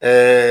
Ɛɛ